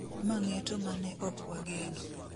Ma ng'eto ma ne okwageno